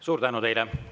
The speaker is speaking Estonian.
Suur tänu teile!